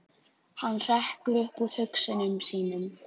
Hann hrekkur upp úr hugsunum sínum.